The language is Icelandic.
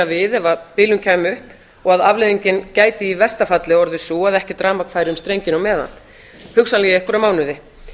við ef bilun kæmi upp og afleiðingin gæti í versta falli orðið sú ef ekkert rafmagn færi um strenginn á meðan hugsanlega í einhverja mánuði